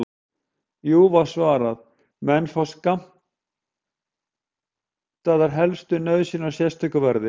Jú, var svarað, menn fá skammtaðar helstu nauðsynjar á sérstöku verði.